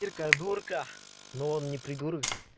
ирка дурка но он не придурок же